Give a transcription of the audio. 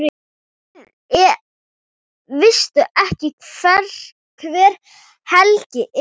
Veistu ekki hver Helgi er?